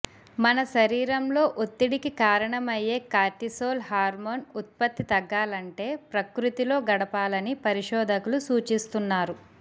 మన శరీరంలో ఒత్తిడికి కారణమయ్యే కార్టిసోల్ హార్మోన్ ఉత్పత్తి తగ్గాలంటే ప్రకృతిలో గడపాలని పరిశోధకులు సూచిస్తున్నారు